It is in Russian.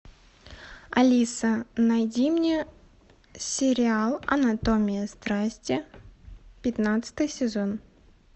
алиса найди мне сериал анатомия страсти пятнадцатый сезон